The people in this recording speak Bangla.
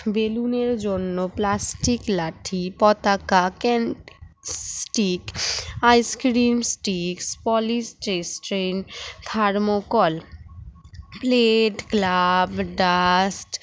বেলুনের জন্য plastic লাঠি পতাকা can stick ice cream stick polish tray streght thermocall plate glove dust